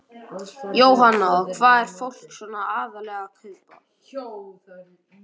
Jóhanna: Og hvað er fólk svona aðallega að kaupa?